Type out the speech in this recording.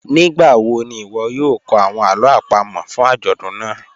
Nigbawo ni iwọ yoo kọ awọn alo apamo fun ajọdun naa?